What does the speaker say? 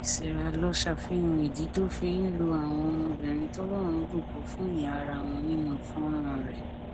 sìràlọ ṣàfihàn ìdí tó fi ń lo àwọn ọmọbìnrin tí ọlọrun bùkún ìhà ara wọn nínú fọnrán rẹ